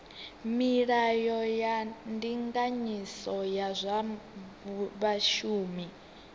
milayo ya ndinganyiso ya zwa vhashumi